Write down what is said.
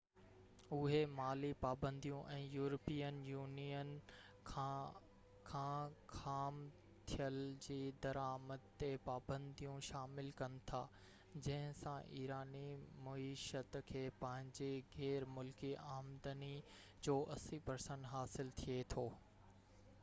اهي مالي پابنديون ۽ يورپين يونين کان کان خام تيل جي درآمد تي پاپنديون شامل ڪن ٿا جنهن سان ايراني معيشت کي پنهنجي غير ملڪي آمدني جو 80% حاصل ٿئي ٿو